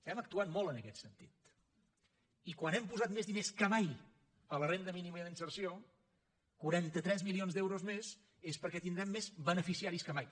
hem actuat molt en aquest sentit i quan hem posat més diners que mai a la renda mínima d’inserció quaranta tres milions d’euros més és perquè tindrem més beneficiaris que mai